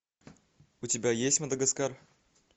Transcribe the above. у тебя есть мадагаскар